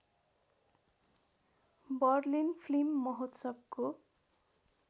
Berlin film महोत्सवको